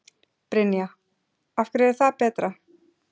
Brynja: Af hverju er það betra?